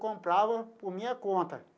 Comprava por minha conta.